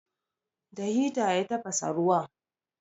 Da hita ya tafasa ruwan.